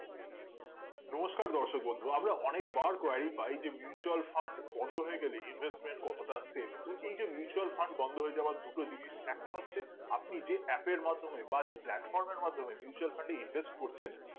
নমস্কার দর্শক বন্ধু আমরা অনেক বার qualify যে mutual fund বন্ধ হয়ে গেলে investment কতটা save এই যে mutual Fund বন্ধ হয়ে যাওয়ার দুটো জিনিস একটা হচ্ছে আপনি যে app এর মাধ্যমে বা যে platform এর মাধ্যমে mutual fund এ invest করছেন